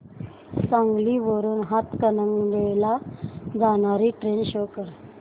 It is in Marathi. सांगली वरून हातकणंगले ला जाणारी ट्रेन शो कर